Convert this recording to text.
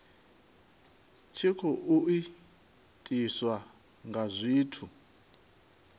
tshi khou itiswa nga zwithu